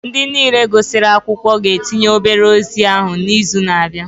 Ndị niile gụsịrị akwụkwọ ga-etinye obere ozi ahụ n'izu na-abịa